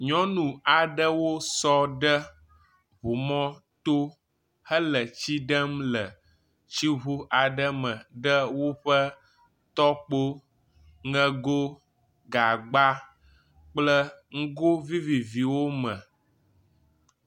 Nyɔnu aɖewo sɔ ɖe ŋumɔto hele tsi ɖem le tsiŋu aɖe me ɖe woƒe tɔkpo, ŋego, gagba kple nugoo viviviwo me.